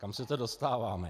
Kam se to dostáváme?